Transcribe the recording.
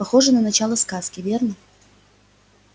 похоже на начало сказки верно